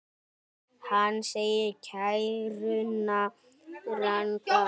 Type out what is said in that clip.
Hann segir kæruna ranga.